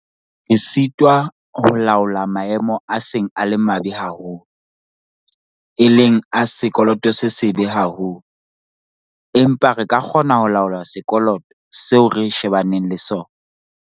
Re sitwa ho laola maemo a seng a le mabe haholo, e leng a sekoloto se sebe haholo, empa re ka kgona ho laola sekoloto seo re shebaneng le sona.